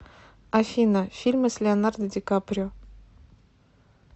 афина фильмы с леонардо ди каприо